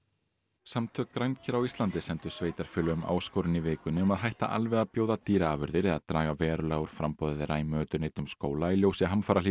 samtök á Íslandi sendu sveitarfélögum áskorun í vikunni um að hætta alveg að bjóða dýraafurðir eða draga verulega úr framboði þeirra í mötuneytum skóla í ljósi